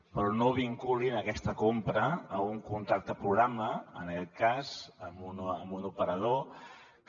però no vinculin aquesta compra a un contracte programa en aquest cas amb un operador que